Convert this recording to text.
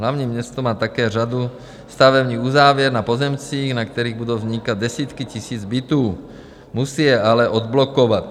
Hlavní město má také řadu stavebních uzávěr na pozemcích, na kterých budou vznikat desítky tisíc bytů, musí je ale odblokovat.